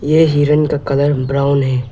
यह हिरण का कलर ब्राउन है।